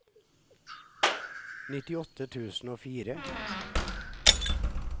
nittiåtte tusen og fire